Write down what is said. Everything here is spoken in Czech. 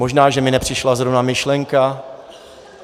Možná že mi nepřišla zrovna myšlenka.